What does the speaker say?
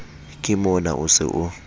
ke mona o se o